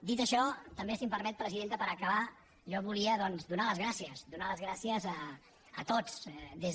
dit això també si em permet presidenta per acabar jo volia donar les gràcies donar les gràcies a tots